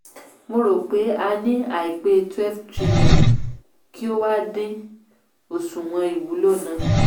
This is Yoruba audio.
mo rò pé a ní àìpé twelve trilion kí o wá dín òṣùwò̀n īwúlò ná.